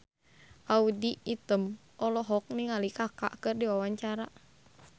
Audy Item olohok ningali Kaka keur diwawancara